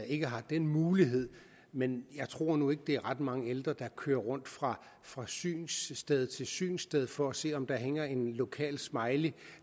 ikke har den mulighed men jeg tror nu ikke at det er ret mange ældre der kører rundt fra fra synssted til synssted for at se om der hænger en lokal smiley